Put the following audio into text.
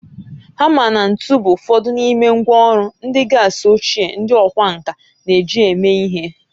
Hama na ntu bụ ụfọdụ n'ime ngwá ọrụ ndị kasị ochie ndị ọkwá nkà na-eji eme ihe